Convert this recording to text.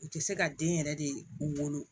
U tɛ se ka den yɛrɛ de wolo